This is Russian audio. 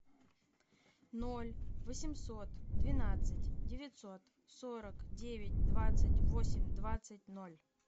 ноль восемьсот двенадцать девятьсот сорок девять двадцать восемь двадцать ноль